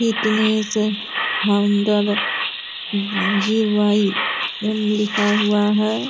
Fitness founder G Y M. लिखा हुआ है।